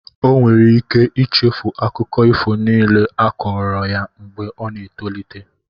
Ọ nwere ike ichefu akụkọ ifo niile a kọọrọ ya mgbe ọ na-etolite.